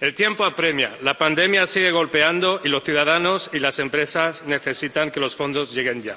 El tiempo apremia, la pandemia sigue golpeando y los ciudadanos y las empresas necesitan que los fondos lleguen ya,